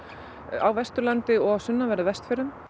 á Vesturlandi og á sunnanverðum Vestfjörðum